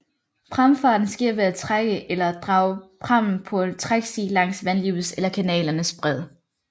Pramfarten sker ved at trække eller drage prammen på en træksti langs vandløbets eller kanalens bred